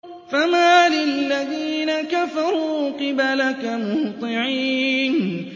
فَمَالِ الَّذِينَ كَفَرُوا قِبَلَكَ مُهْطِعِينَ